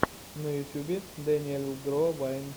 на ютьюбе дэниель гро вайн